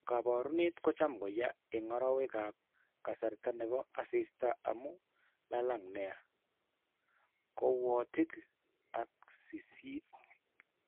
Kaabarunet ko cham ko ya eng' arowekap kasarta ne po asista amu lalang' nia, kaawootik ak siisiit.